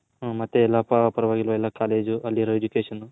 ಹು ಮತ್ತೆ ಎಲ್ಲಾ ಪರವಾಗಿಲ್ಲವ ಎಲ್ಲಾ College ಅಲ್ಲಿರೋ Education.